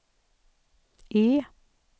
E